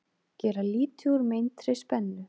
Gera lítið úr meintri spennu